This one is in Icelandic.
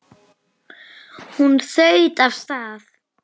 Hún þaut af stað.